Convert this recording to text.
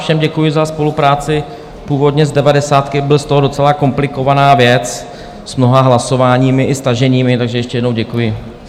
Všem děkuji za spolupráci, původně z devadesátky byla z toho docela komplikovaná věc s mnoha hlasováními i staženími, takže ještě jednou děkuji.